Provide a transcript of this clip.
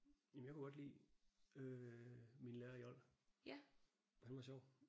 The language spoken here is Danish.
Jamen jeg kunne godt lide min lærer i old. Han var sjov